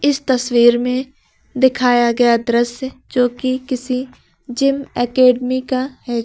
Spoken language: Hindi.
इस तस्वीर में दिखाया गया दृश्य जो कि किसी जिम एकेडमी का है य--